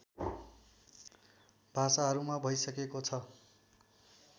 भाषाहरूमा भइसकेको छ